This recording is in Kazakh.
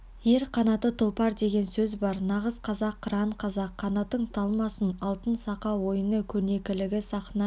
ер қанаты тұлпар деген сөз бар нағыз қазақ қыран қазақ қанатың талмасын алтын сақа ойыны көрнекілігі сахна